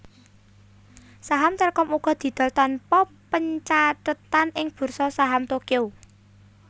Saham Telkom uga didol tanpa pencathetan ing Bursa Saham Tokyo